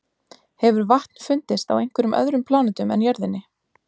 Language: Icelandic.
hefur vatn fundist á einhverjum öðrum plánetum en jörðinni